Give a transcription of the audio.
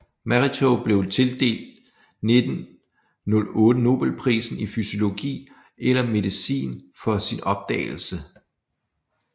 Mechnikov blev tildelt 1908 Nobelprisen i fysiologi eller medicin for sin opdagelse